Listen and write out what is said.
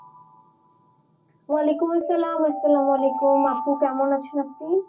ওয়ালাইকুম আসসালাম, আসসালাম ওয়ালাইকুম আপু কেমন আছেন আপনি?